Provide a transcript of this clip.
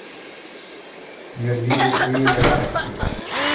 Mér líður eiginlega ekki vel.